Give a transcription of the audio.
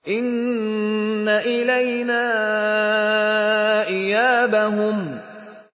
إِنَّ إِلَيْنَا إِيَابَهُمْ